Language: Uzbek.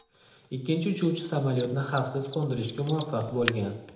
Ikkinchi uchuvchi samolyotni xavfsiz qo‘ndirishga muvaffaq bo‘lgan.